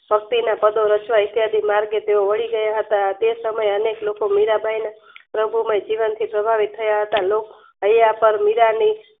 ભક્તિના પદો રચવા ઐતિહાસિક માર્ગે તેઓ વાળીગયા હતા તેસમયે અનેક લોકો મીરાંબાઈના પ્રભુમય જીવનથી પ્રભાવિત થયા હતા લોક મીરાની